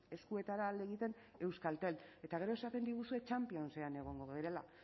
eskuetara alde egiten euskaltel eta gero esaten diguzue championsean egongo garela